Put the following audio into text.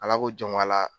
Ala ko jɔn a la